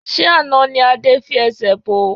Ṣé àná ni Adé fi ẹsẹ̀ bo?